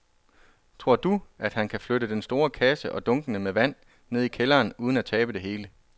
Tror du, at han kan flytte den store kasse og dunkene med vand ned i kælderen uden at tabe det hele?